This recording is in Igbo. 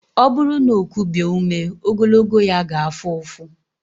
Ọ bụrụ na o kubie ume ogologo ya ga-afụ ụfụ.